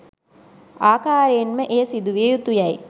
ආකාරයෙන්ම එය සිදු විය යුතු යැයි